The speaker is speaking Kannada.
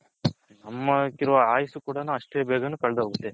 ಅಮ್ಮ ಅಕ್ಕಿರೋ ಆಯಾಸು ಕೂಡ ಅಷ್ಟ ಬೇಗ ಕಳದೊಗುತೆ